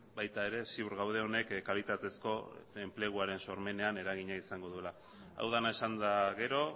baita ere ziur gaude honek kalitatezko enpleguaren sormenean eragina izango duela hau dena esanda gero